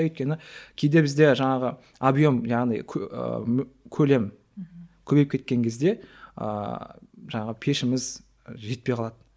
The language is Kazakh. өйткені кейде бізде жаңағы объем яғни көлем көбейіп кеткен кезде ыыы жаңағы пешіміз жетпей қалады